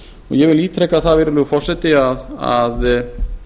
ég vil ítreka það virðulegi forseti að